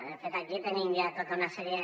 de fet aquí tenim ja tota una sèrie